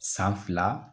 San fila